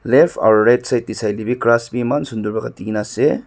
left aro right side tae sailae bi grass bi eman sunder pa katinaase.